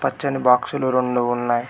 పచ్చని బాక్స్ లు రొండు ఉన్నాయి.